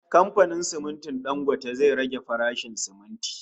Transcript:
Kamfanin simintin Dangote zai rage farashin siminti